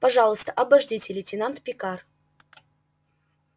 пожалуйста обождите лейтенант пикар